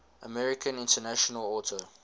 american international auto